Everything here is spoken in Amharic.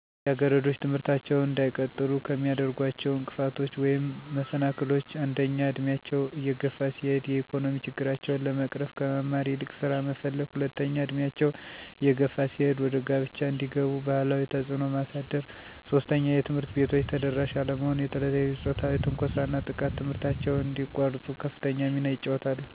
ልጃገረዶች ትምህርታቸውን እንዳይቀጥሉ ከሚያደርጓቸው እንቅፋቶች ወይም መሰናክሎች አንደኛ እድሜያቸው እየገፋ ሲሄድ የኢኮኖሚ ችግራቸውን ለመቅረፍ ከመማር ይልቅ ስራ መፈለገ፣ ሁለተኛ እድሜያቸው እየገፋ ሲሄድ ወደ ጋብቻ እንዲገቡ ባህላዊ ተፅዕኖ ማሳደር፣ ሦስተኛ የትምህርት ቤቶች ተደራሽ አለመሆን ለተለያዩ ፆታዊ ትንኮሳና ጥቃት ትምህርታቸውን እዲያቋርጡ ከፍተኛ ሚና ይጫወታሉ።